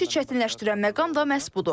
Elə işi çətinləşdirən məqam da məhz budur.